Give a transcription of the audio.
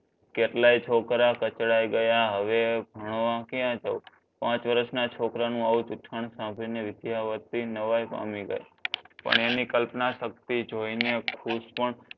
કેટલાય છોકરા કચડાઈ ગયા હવે ભણવા ક્યાં જાવ પાંચ વર્ષના છોકરાનું આવું ચૂતકણ સાંભળીને વિદ્યાવતી નવાઈ પામી ગઈ. પણ એની કલ્પના શક્તિ જોઈને ખુશ પણ